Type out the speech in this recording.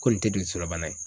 Ko nin tɛ jolisirabana ye